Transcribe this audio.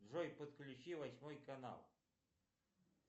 джой подключи восьмой канал